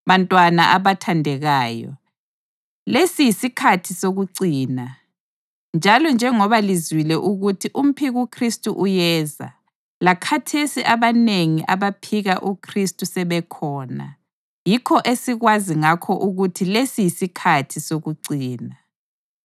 Bantwana abathandekayo, lesi yisikhathi sokucina; njalo njengoba lizwile ukuthi umphikuKhristu uyeza, lakhathesi abanengi abaphika uKhristu sebekhona. Yikho esikwazi ngakho ukuthi lesi yisikhathi sokucina.